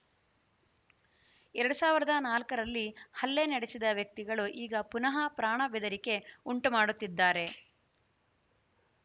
ಎರಡ್ ಸಾವಿರದ ನಾಲ್ಕರಲ್ಲಿ ಹಲ್ಲೆ ನಡೆಸಿದ ವ್ಯಕ್ತಿಗಳು ಈಗ ಪುನಃ ಪ್ರಾಣ ಬೆದರಿಕೆ ಉಂಟುಮಾಡುತ್ತಿದ್ದಾರೆ